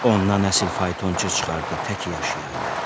Ondan əsil faytonçu çıxardı, təki yaşayaydı.